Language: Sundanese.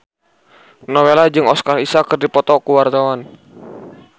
Nowela jeung Oscar Isaac keur dipoto ku wartawan